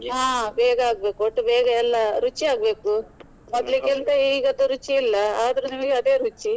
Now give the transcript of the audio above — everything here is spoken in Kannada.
ಹ ಬೇಗ ಆಗ್ಬೇಕು. ಒಟ್ಟು ಬೇಗ ಎಲ್ಲಾ ರುಚಿ ಆಗ್ಬೇಕು. ಮೊದ್ಲಿಗಿಂತ ಈಗ ರುಚಿ ಇಲ್ಲ ಆದ್ರು ನಮಿಗೆ ಅದೇ ರುಚಿ.